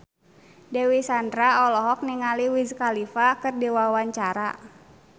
Dewi Sandra olohok ningali Wiz Khalifa keur diwawancara